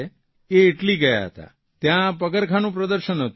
એ Italy ગયા હતા ત્યાં પગરખાંનું પ્રદર્શન હતું